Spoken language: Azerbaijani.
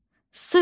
S hərfi.